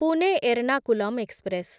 Pune Ernakulam express